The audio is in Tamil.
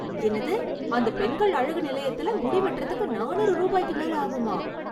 என்னது, அந்த பெண்கள் அழகு நிலையத்துல முடி வெட்றதுக்கு நானூறு ரூபாய்க்கு மேல ஆகுமா?